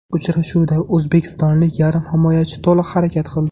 Uchrashuvda o‘zbekistonlik yarim himoyachi to‘liq harakat qildi.